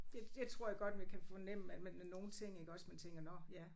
Det det tror jeg godt vi kan fornemme at med med nogle ting iggås man tænker nåh ja